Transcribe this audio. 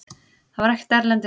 Það var ekkert erlendis.